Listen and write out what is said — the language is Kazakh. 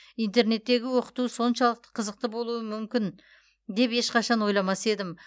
интернеттегі оқыту соншалықты қызықты болуы мүмкін деп ешқашан ойламас едім